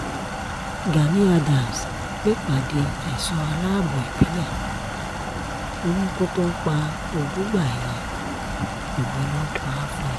gani adams pèpàdé ẹ̀ṣọ́ aláàbọ̀ ìbílẹ̀ ò níkù tó ń pọ̀jùgbà ẹni òwe ló ń pa fún ni